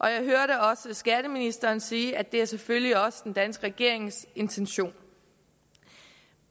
jeg hørte også skatteministeren sige at det selvfølgelig også er den danske regerings intention